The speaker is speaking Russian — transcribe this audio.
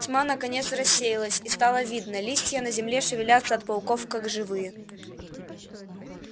тьма наконец рассеялась и стало видно листья на земле шевелятся от пауков как живые